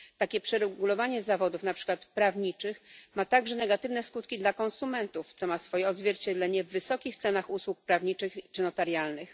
Takie przeregulowanie zawodów, na przykład prawniczych, ma także negatywne skutki dla konsumentów, co ma swoje odzwierciedlenie w wysokich cenach usług prawniczych czy notarialnych.